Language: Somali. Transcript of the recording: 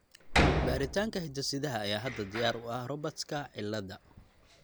Baaritaanka hidde-sidaha ayaa hadda diyaar u ah Robertska cilada.